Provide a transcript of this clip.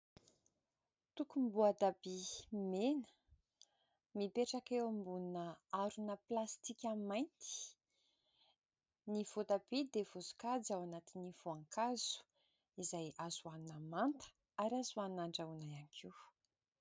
Tokom-boatabia mena mipetraka eo ambonina harona plastika mainty. Ny voatabia dia voasokajy ao anatin'ny voankazo izay azo hohanina manta ary azo hohanina handrahoana ihany koa.